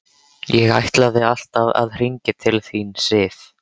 Ég ætlaði alltaf að hringja til þín, Sif.